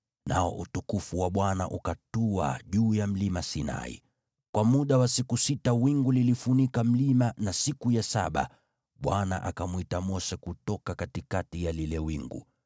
nao utukufu wa Bwana ukatua juu ya Mlima Sinai. Kwa muda wa siku sita wingu lilifunika mlima, na siku ya saba Bwana akamwita Mose kutoka katikati ya lile wingu.